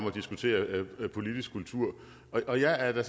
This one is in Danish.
at diskutere politisk kultur og jeg er da